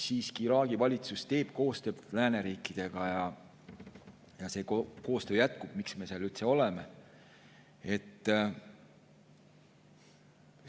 Siiski, Iraagi valitsus teeb koostööd lääneriikidega ja see koostöö jätkub, me seal üldse oleme.